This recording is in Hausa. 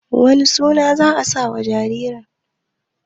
wane suna za a sa wa jaririn?